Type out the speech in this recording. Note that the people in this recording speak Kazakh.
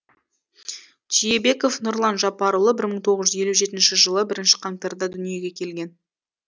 түйебеков нұрлан жапарұлы бір мың тоғыз жүз елу жетінші жылы бірінші қаңтарда дүниеге келген